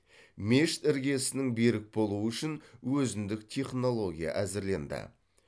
мешіт іргесінің берік болуы үшін өзіндік технология әзірленді